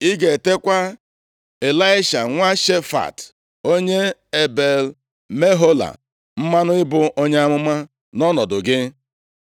Ị ga-etekwa Ịlaisha nwa Shafat, onye Ebel-Mehola mmanụ ịbụ onye amụma nʼọnọdụ gị.